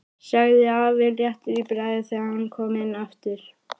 sagði afi léttur í bragði þegar hann kom inn aftur.